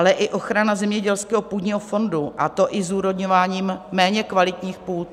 Ale i ochrana zemědělského půdního fondu, a to i zúrodňováním méně kvalitních půd.